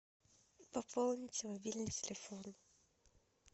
пополнить мобильный телефон